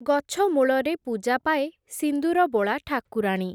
ଗଛମୂଳରେ ପୂଜାପାଏ ସିନ୍ଦୁରବୋଳା ଠାକୁରାଣୀ ।